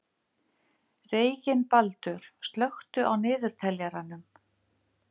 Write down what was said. Reginbaldur, slökktu á niðurteljaranum.